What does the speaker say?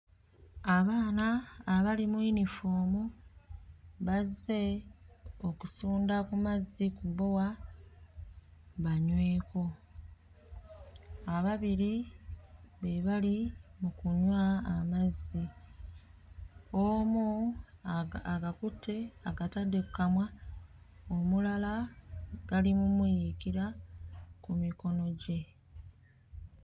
Abaana abali mu yinifoomu bazze okusunda ku mazzi ku bbowa banyweko. Ababiri be bali mu kunywa amazzi omu aga agakutte agatadde kkamwa omulala gali mu mmuyiikira ku mikono gye.